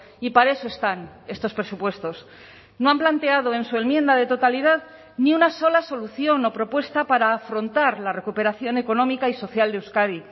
y para eso están estos presupuestos no han planteado en su enmienda de totalidad ni una sola solución o propuesta para afrontar la recuperación económica y social de euskadi